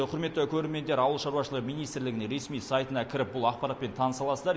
құрметті көрермендер ауыл шаруашылығы министрлігіне ресми сайтына кіріп бұл ақпаратпен таныса аласыздар